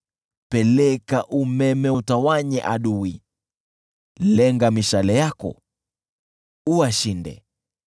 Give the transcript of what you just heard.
Peleka umeme uwatawanye adui, lenga mishale yako uwashinde.